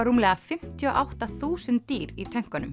rúmlega fimmtíu og átta þúsund dýr í